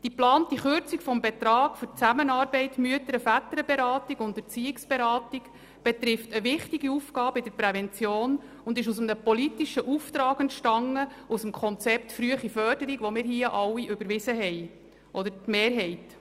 Die geplante Kürzung des Betrags für die Zusammenarbeit der Mütter- und Väterberatung sowie der Erziehungsberatung betrifft eine wichtige Aufgabe in der Prävention und ist aus einem politischen Auftrag entstanden, nämlich aus dem von uns mehrheitlich überwiesenen «Konzept frühe Förderung im Kanton Bern».